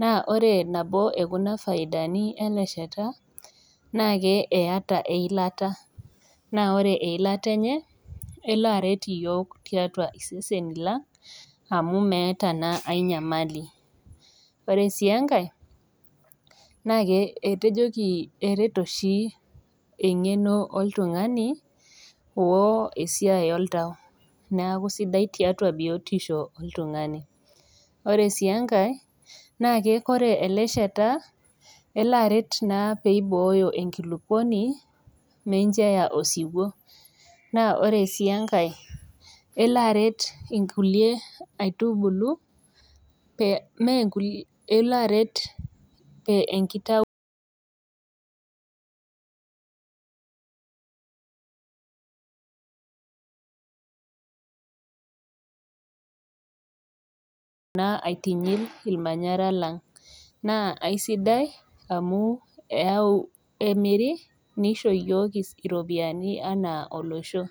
naa ore nabo ekuna faidani ele shata naa ke eyata eilata naa ore eilata enye elo aret iyiok tiatua iseseni lang amu meeta naa ae nyamali ore sii enkae nake etejoki erita oshi eng'eno oltung'ani oo esiai oltau neaku sidai tiatua biotisho oltung'ani ore sii enkae naake kore ele shata elo aret naa peibooyo enkilukuoni meincho eya osiwuo naa ore sii enkae elo aret inkulie aitubulu pee menkulie elo aret pe enkitau naa aitinyil ilmanyara lang naa aisidai amu eyau emiri nisho iyiok iropiani anaa olosho.